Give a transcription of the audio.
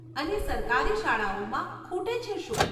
અને સરકારી શાળાઓમાં ખૂટે છે શું ?